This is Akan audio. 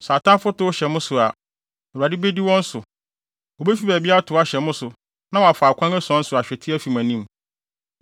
Sɛ atamfo tow hyɛ mo so a, Awurade bedi wɔn so. Wobefi baabi atow ahyɛ mo so na wɔafa akwan ason so ahwete, afi mo anim.